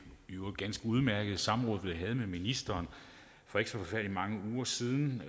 i øvrigt ganske udmærkede samråd vi havde med ministeren for ikke så forfærdelig mange uger siden